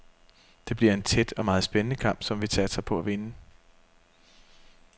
Det bliver en tæt og meget spændende kamp, som vi satser på at vinde.